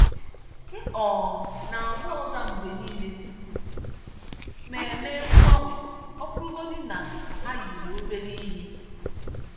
M um na-agwa oga mgbe niile tupu m eme mgbanwe, ọ bụrụgodị na ha yiri obere ihe.